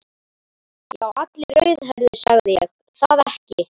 Já, allir rauðhærðir, sagði ég það ekki.